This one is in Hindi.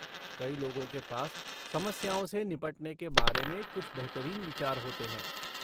कई लोगों के पास समस्याओं से निपटने के बारे में कुछ बेहतरीन विचार होते हैं।